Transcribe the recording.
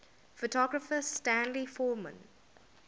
photographer stanley forman